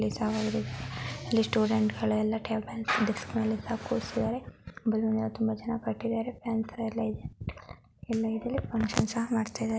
ಇಲ್ಲಿ ಸ್ಟೂಡೆಂಟ್ ಗಳು ಟೆಬ ಡೆಸ್ಕ್ ಮೇಲೆ ಎಲ್ಲ ಕೂರಿಸಿದರೆ ಬಲೂನ್ ಎಲ್ಲ ತುಂಬಾ ಚನ್ನಾಗಿ ಕಟ್ಟಿದರೆ ನಂತರ ಎಲ್ಲ ಇದರೆ ಫಂಕ್ಷನ್ ಸಹ ಮಾಡತ್ತಾ ಇದ್ದಾರೆ.